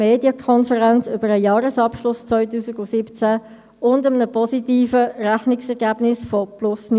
Wir werden sicher das Nachhallen dieser Abstimmung in der heutigen und morgigen Debatte hören.